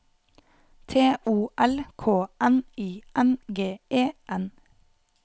T O L K N I N G E N